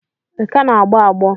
Ị ka na-agbọ agbọ?